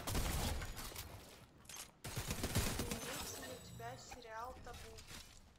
имеется ли у тебя сериал табу